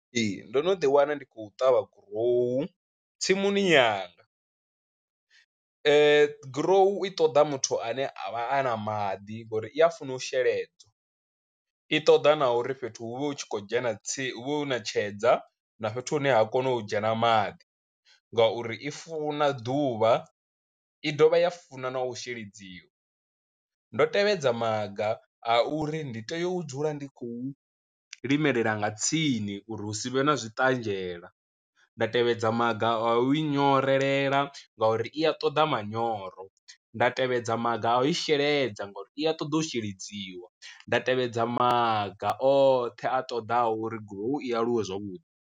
Ee, ndo no ḓi wana ndi khou ṱavha gurowu tsimuni yanga, gurowu i ṱoḓa muthu ane a vha a na maḓi ngori i a funa u sheledza, i ṱoḓa na uri fhethu hu vhe hu tshi khou dzhena tsi hu vhe hu na tshedza na fhethu hune ha kona u dzhena maḓi ngauri i funa ḓuvha, i dovha ya funa na u sheledziwa. Ndo tevhedza maga a uri ndi tea u dzula ndi khou limelela nga tsini uri hu si vhe na zwi ṱanzhela, nda tevhedza maga a u i nyorelea ngauri i a ṱoḓa manyoro, nda tevhedza maga a u sheledza ngori i a ṱoḓa u sheledziwa, nda tevhedza maga oṱhe a ṱoḓaho uri gurowu i aluwe zwavhuḓi.